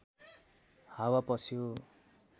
हावा पस्यो